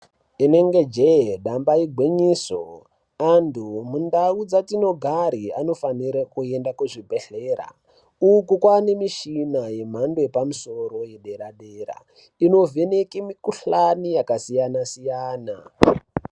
Inenge jee damba igwinyiso, antu mundau yatinogare anofanirwe kuende kuchibhedhlera . Uku kwaanemishina yemhando yepamusoro yedera dera inovheneka mukhuhlana yakasiyana siyana.